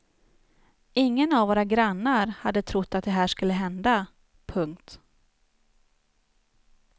Ingen av våra grannar hade trott att det här skulle hända. punkt